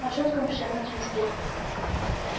а тёткам всем этим школьным